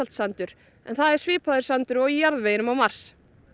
sandur en það svipaður sandur og í jarðveginum á mars